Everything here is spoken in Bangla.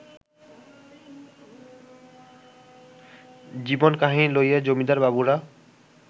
জীবনকাহিনী লইয়া-জমিদার বাবুরা